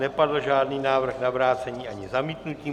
Nepadl žádný návrh na vrácení ani zamítnutí.